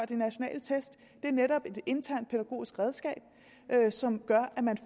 de nationale test det er netop et internt pædagogisk redskab som gør at man